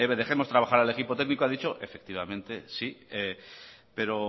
dejemos trabajar al equipo técnico ha dicho sí pero